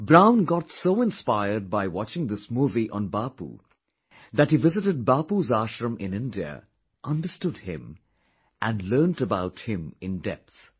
Brown got so inspired by watching this movie on Bapu that he visted Bapu's ashram in India, understood him and learnt about him in depth